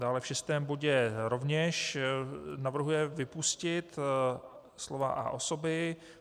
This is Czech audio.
Dále v šestém bodě rovněž navrhuje vypustit slova "a osoby".